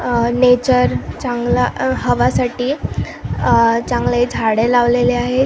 अ nature चांगला हवा साठी चांगले झाडे लावलेले आहेत.